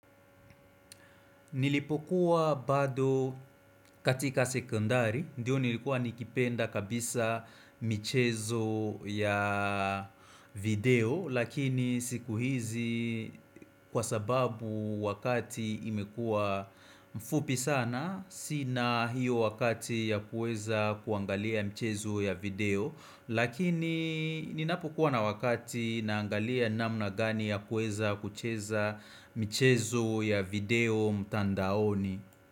Nilipokuwa bado katika sekundari, ndiyo nilikuwa nikipenda kabisa michezo ya video, lakini siku hizi kwa sababu wakati imekuwa mfupi sana, sina hiyo wakati ya kuweza kuangalia michezo ya video, Lakini ninapokuwa na wakati naangalia namna gani ya kueza kucheza michezo ya video mtandaoni.